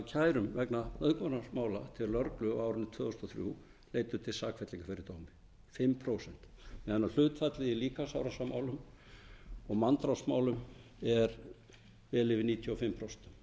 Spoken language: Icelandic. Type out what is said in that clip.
kærum vegna nauðugunarmála til lögreglu á árinu tvö þúsund og þrjú leiddu til sakfellingar í fdómumm fimm prósent meðan hlutfallið í líkamsárásarmálum og manndrápsmálum er vel yfir níutíu og fimm